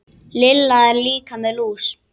Lilla er líka með lús.